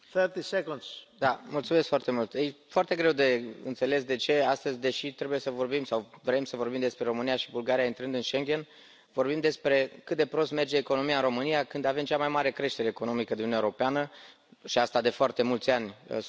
E foarte greu de înțeles de ce, astăzi, deși trebuie să vorbim sau vrem să vorbim despre România și Bulgaria intrând în Schengen, vorbim despre cât de prost merge economia în România, când avem cea mai mare creștere economică din Uniunea Europeană și asta de foarte mulți ani sub guvernarea social democrată.